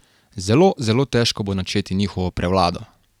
Zelo, zelo težko bo načeti njihovo prevlado.